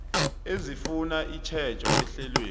ezifuna itjhejo ehlelweni